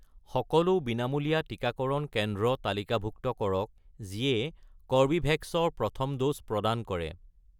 সকলো বিনামূলীয়া টিকাকৰণ কেন্দ্ৰ তালিকাভুক্ত কৰক যিয়ে কৰ্বীভেক্স ৰ প্ৰথম ড'জ প্ৰদান কৰে